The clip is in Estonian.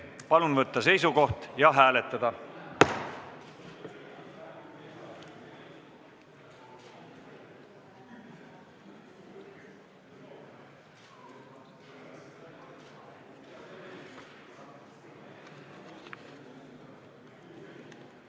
Palun võtta seisukoht ja hääletada!